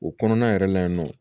O kɔnɔna yɛrɛ la yen nɔ